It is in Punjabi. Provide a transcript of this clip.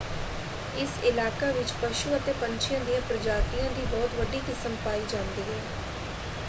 ਇਸ ਇਲਾਕਾ ਵਿੱਚ ਪਸ਼ੂ ਅਤੇ ਪੰਛੀਆਂ ਦੀਆਂ ਪ੍ਰਜਾਤੀਆਂ ਦੀ ਬਹੁਤ ਵੱਡੀ ਕਿਸਮ ਪਾਈ ਜਾਂਦੀ ਹੈ।